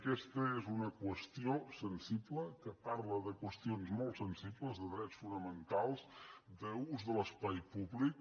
aquesta és una qüestió sensible que parla de qüestions molt sensibles de drets fonamentals d’ús de l’espai públic